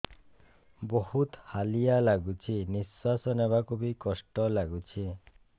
ବହୁତ୍ ହାଲିଆ ଲାଗୁଚି ନିଃଶ୍ବାସ ନେବାକୁ ଵି କଷ୍ଟ ଲାଗୁଚି